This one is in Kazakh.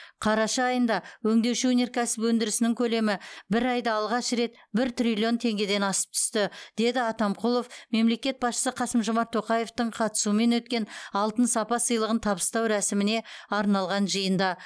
қараша айында өңдеуші өнеркәсіп өндірісінің көлемі бір айда алғаш рет бір триллион теңгеден асып түсті деді атамқұлов мемлекет басшысы қасым жомарт тоқаевтың қатысуымен өткен алтын сапа сыйлығын табыстау рәсіміне арналған жиында